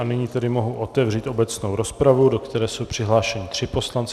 A nyní tedy mohu otevřít obecnou rozpravu, do které jsou přihlášeni tři poslanci.